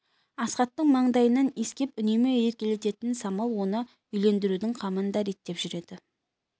асхаттың маңдайынан иіскеп үнемі еркелететін самал оны үйлендірудің қамын да реттеп жүреді